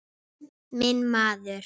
Minn maður!